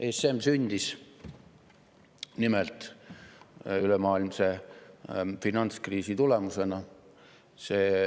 ESM sündis nimelt ülemaailmse finantskriisi tulemusena.